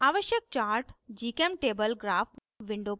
आवश्यक chart gchemtable graph window पर